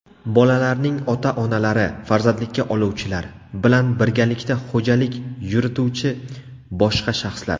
bolalarning ota-onalari (farzandlikka oluvchilar) bilan birgalikda xo‘jalik yurituvchi boshqa shaxslar.